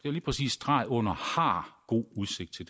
er lige præcis streg under god udsigt til